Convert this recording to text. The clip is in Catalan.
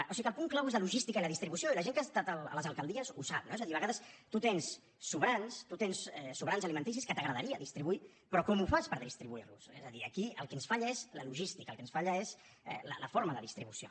o sigui que el punt clau és la logística i la distribució i la gent que ha estat a les alcaldies ho sap no és a dir a vegades tu tens sobrants tu tens sobrants alimentaris que t’agradaria distribuir però com ho fas per distribuirlos és a dir aquí el que ens falla és la logística el que ens falla és la forma de distribució